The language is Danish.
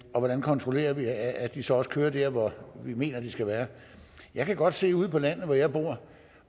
og hvordan kontrollerer vi at at de så også kører der hvor vi mener de skal være jeg kan godt se ude på landet hvor jeg bor